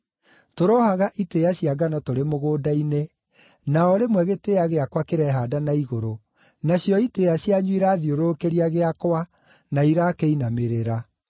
Tũrohaga itĩĩa cia ngano tũrĩ mũgũnda-inĩ, na o rĩmwe gĩtĩĩa gĩakwa kĩrehaanda na igũrũ, nacio itĩĩa cianyu irathiũrũrũkĩria gĩakwa, na irakĩinamĩrĩra.”